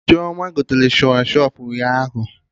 Chioma gotere Shawashọpụ ụnyaahụ